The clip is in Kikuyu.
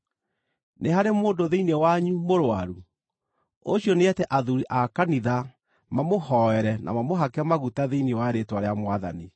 Nĩ harĩ mũndũ thĩinĩ wanyu mũrũaru? Ũcio nĩete athuuri a kanitha mamũhooere na mamũhake maguta thĩinĩ wa rĩĩtwa rĩa Mwathani.